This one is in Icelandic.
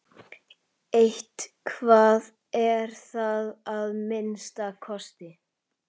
Eitthvað er það að minnsta kosti.